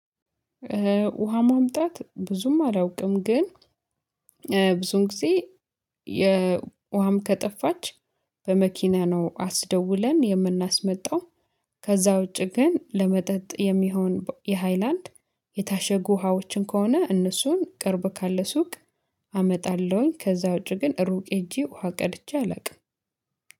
ውሃ ማምጣት ብዙም አላውቅም ግን ብዙን ጊዜ የውሃም ከጠፋች በመኪና ነው አስደውለን የምናስመጣው። ከዛ ውጪ ግን ለመጠጥ የሚሆን የሃይላንድ የታሸጉ ውሃዎችን ከሆነ እነሱን ቅርብ ካለ ሱቅ አመጣለሁኝ። ከዛ ውጪ ግን ሩቅ ሄጄ ውሃ ቀድቼ አላውቅም